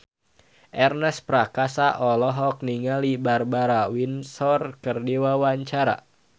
Ernest Prakasa olohok ningali Barbara Windsor keur diwawancara